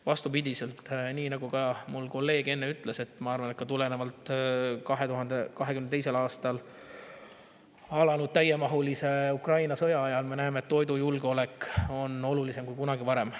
" Vastupidi, nii nagu ka mu kolleeg enne ütles, ma arvan, et tulenevalt 2022. aastal alanud täiemahulisest Ukraina sõjast me näeme, et toidujulgeolek on olulisem kui kunagi varem.